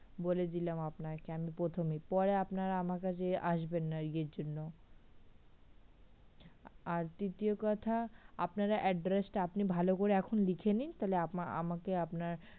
বলে দিলাম আপনাকে আমি প্রথমেই পরে আপনারা আমার কাছে আসবেন না ইয়ের জন্য আর দ্বিতীয় কথা আপনারা address টা আপনি ভালো করে এখন লিখে নিন তাহলে আমাকে আপনার